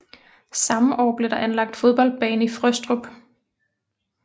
Samme år blev der anlagt fodboldbane i Frøstrup